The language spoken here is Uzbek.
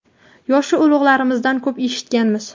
Yoshi ulug‘larimizdan ko‘p eshitganmiz.